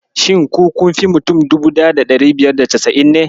Shin ku kunfi mutum 1590 ne?